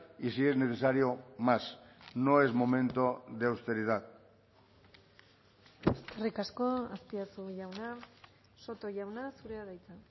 y si es necesario más no es momento de austeridad eskerrik asko azpiazu jauna soto jauna zurea da hitza